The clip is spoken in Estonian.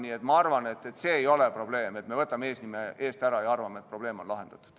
Nii et ma arvan, et see ei ole lahendus, et me võtame eesnime eest ära ja arvame, et probleem on lahendatud.